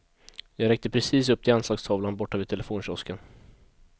Jag räckte precis upp till anslagstavlan borta vid telefonkiosken.